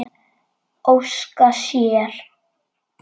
Óska sér.